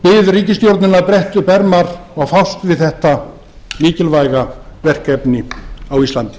ríkisstjórnina að bretta upp ermar og fást við þetta mikilvæga verkefni á íslandi